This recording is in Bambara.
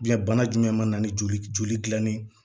bana jumɛn mana ni joli joli gilanni ye